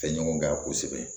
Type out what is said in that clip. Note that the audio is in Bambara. Fɛɲɔgɔn k'a kosɛbɛ